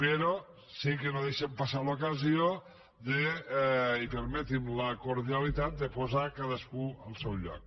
però sí que no deixem passar l’ocasió i permeti’m la cordialitat de posar cadascú al seu lloc